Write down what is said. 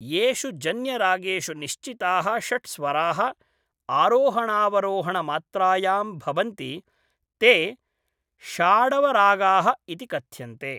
येषु जन्यरागेषु निश्चिताः षट् स्वराः आरोहणावरोहणमात्रायां भवन्ति, ते षाडवरागाः इति कथ्यन्ते।